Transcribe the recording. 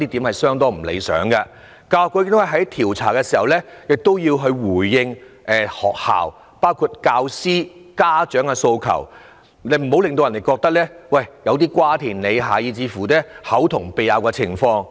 教育局在調查投訴時，亦要回應學校包括教師及家長的訴求，這樣難免會出現瓜田李下、口同鼻拗的情況。